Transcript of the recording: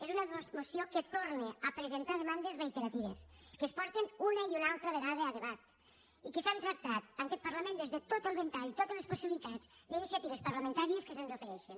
és una moció que torna a presentar demandes reiteratives que es porten una i una altra vegada a debat i que s’han tractat en aquest parlament des de tot el ventall totes les possibilitats d’iniciatives parlamentàries que se’ns ofereixen